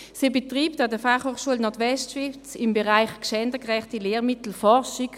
Sie betreibt an der FHNW im Bereich gendergerechte Lehrmittel Forschung.